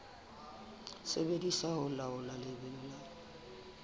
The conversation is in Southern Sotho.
sebediswa ho laola lebelo la